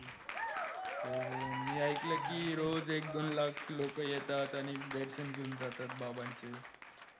हो मी ऐकलं कि रोज एक दोन लाख लोकं येतात आणि दर्शन घेऊन जातात बाबांचे